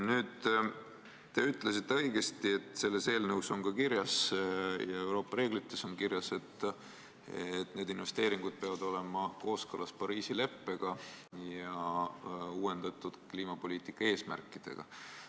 Nüüd, te ütlesite õigesti, et selles eelnõus on kirjas ja ka Euroopa reeglites on kirjas, et need investeeringud peavad olema kooskõlas Pariisi leppega ja uuendatud kliimapoliitika eesmärkidega.